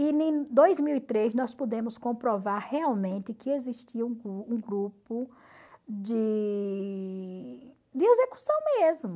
E em dois mil e três nós pudemos comprovar realmente que existia um grupo de de execução mesmo.